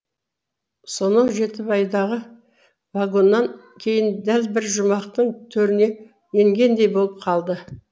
сонау жетібайдағы вагоннан кейін дәл бір жұмақтың төріне енгендей болып қалды